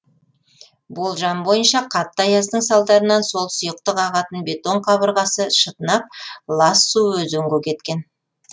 болжам бойынша қатты аяздың салдарынан сол сұйықтық ағатын бетон қабырғасы шытынап лас су өзенге кеткен